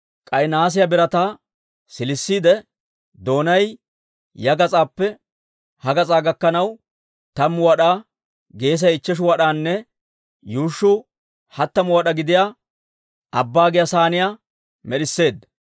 K'ay nahaasiyaa birataa siilisiide, doonay ya gas'aappe ha gas'aa gakkanaw tammu wad'aa, geesay ichcheshu wad'anne yuushshuu hattamu wad'aa gidiyaa Abbaa giyaa sayniyaa med'isseedda.